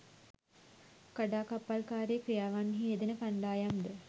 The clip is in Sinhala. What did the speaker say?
කඩාකප්පල්කාරී ක්‍රියාවන්හි යෙදෙන කණ්ඩායම් ද